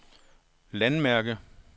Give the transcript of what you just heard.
landmærke